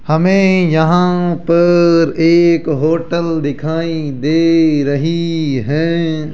हमें यहां पर एक होटल दिखाई दे रही है।